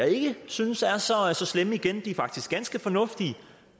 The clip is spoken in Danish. ikke synes er så slemme igen de er faktisk ganske fornuftige